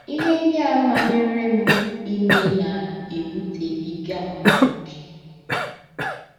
Ihe ndị a manyere m ime na - ewutebiga m ókè. ”